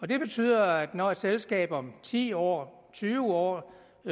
det betyder at når et selskab om ti år tyve år